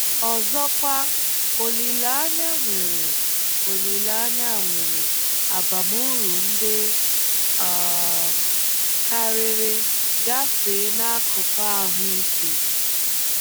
Ọzọkwa, olileanya nwere, olileanya nwere abamuru ndị um karịrị gafee n'akụkụ ahụ́ ike.